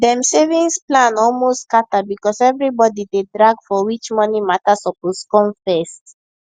dem savings plan almost scatter because everybody dey drag for which money matter suppose come first